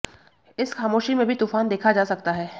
इस खामोशी में भी तूफान देखा जा सकता है